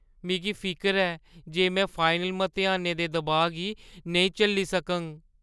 मिगी फिकर ऐ जे में फाइनल मतेहानें दे दबाऽ गी नेईं झल्ली सकङ।